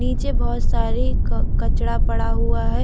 नीचे बहुत सारी कचड़ा पड़ा हुआ है।